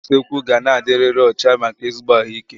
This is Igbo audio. Ngwaọrụ usekwu ga na-adiriri ọcha maka ezigbo ahụ ike